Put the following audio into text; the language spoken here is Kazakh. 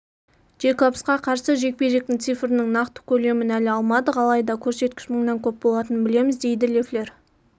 джейкобсқа қарсы жекпе-жектің цифрінің нақты көлемін әлі алмадық алайда көрсеткіш мыңнан көп болатынын білеміз дейді леффлер